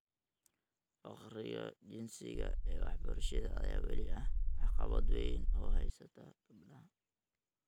Farqiga jinsiga ee waxbarashada ayaa weli ah caqabad weyn oo haysata gabdhaha .